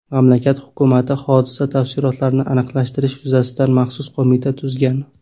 Mamlakat hukumati hodisa tafsilotlarini aniqlashtirish yuzasidan maxsus qo‘mita tuzgan.